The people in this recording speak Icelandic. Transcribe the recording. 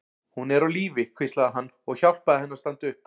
Hún er á lífi, hvíslaði hann og hjálpaði henni að standa upp.